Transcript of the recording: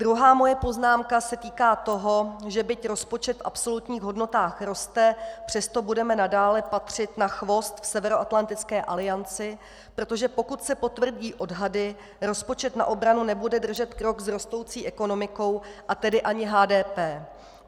Druhá moje poznámka se týká toho, že byť rozpočet v absolutních hodnotách roste, přesto budeme nadále patřit na chvost v Severoatlantické alianci, protože pokud se potvrdí odhady, rozpočet na obranu nebude držet krok s rostoucí ekonomikou, a tedy ani HDP.